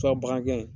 bagangɛ ye